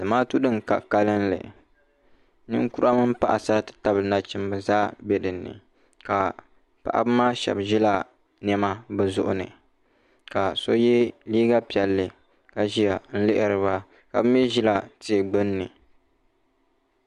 Zamaatu di n ka kanlli ninkura mini paɣasara ti tabili nachimba zaa bɛ dinni ka paɣaba maa shɛba zi la nɛma bi zuɣu ni ka so ye liiga piɛlli ka ziya n lihiri ba ka bi mi zila tia gbinni.